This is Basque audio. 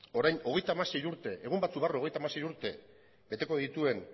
orain hogeita hamasei urte egun batzuk barru hogeita hamasei urte beteko dituen